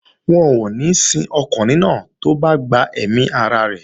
Wọn ò ní sin ọkùnrin náà tó bá gbẹ̀mí ara rẹ̀